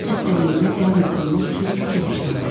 Sizin xəstəliyinizə diaqnoz qoymaq üçün fikirləşməliyəm.